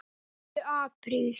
Hlauptu apríl.